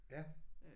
Ja